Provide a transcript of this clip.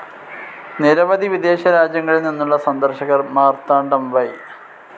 നിരവവധി വിദേശ രാജ്യങ്ങളിൽ നിന്നുള്ള സന്ദർശകർ മാർത്താണ്ഡം വൈ.